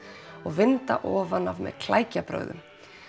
og vinda ofan af með klækjabrögðum